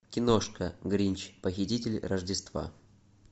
киношка гринч похититель рождества